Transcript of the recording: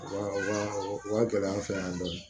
Wa o wa gɛlɛya an fɛ yan dɔɔni